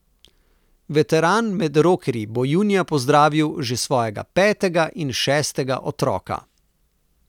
Veteran med rokerji bo junija pozdravil že svojega petega in šestega otroka.